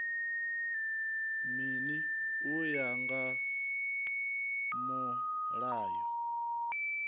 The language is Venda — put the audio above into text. mini u ya nga mulayo